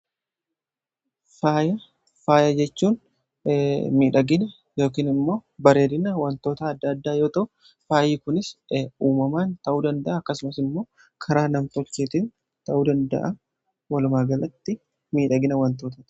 Faaya jechuun miidhagina yookiin immoo bareedina wantoota adda addaa yoo ta'u faayi kunis uumamaan ta'uu danda'a akkasumas immoo karaa nam-tolcheetiin ta'uu danda'a walumaagalatti faaya jechuun miidhagina jechuudhaa.